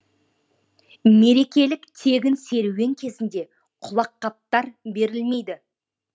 мерекелік тегін серуен кезінде құлаққаптар берілмейді